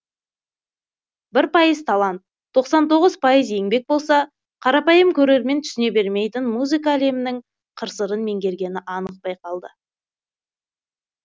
бір пайыз талант тоқсан тоғыз пайыз еңбек болса қарапайым көрермен түсіне бермейтін музыка әлемінің қыр сырын меңгергені анық байқалды